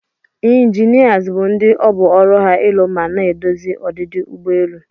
Inginias bu ndi obu ọrụ ha ilụ mana edozi odidi ụgbọ elụ.